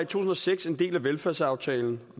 tusind og seks en del af velfærdsaftalen